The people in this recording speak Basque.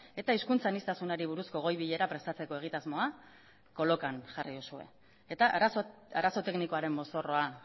eta hizkuntza aniztasunari buruzko goi bilera prestatzeko egitasmoa kolokan jarri duzue eta arazo teknikoaren mozorroa